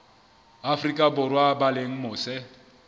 afrika borwa ba leng mose